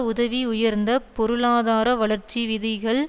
உதவி உயர்ந்த பொருளாதார வளர்ச்சி விகிதங்கள்